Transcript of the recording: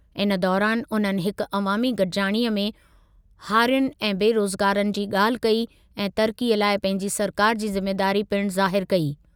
इन दौरानि उन्हनि हिकु अवामी गॾिजाणीअ में हारियुनि ऐं बेरोज़गारनि जी ॻाल्हि कई ऐं तरक़ीअ लाइ पंहिंजी सरकारि जी ज़िमेदारी पिणु ज़ाहिरु कई।